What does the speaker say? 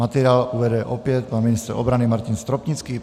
Materiál uvede opět pan ministr obrany Martin Stropnický.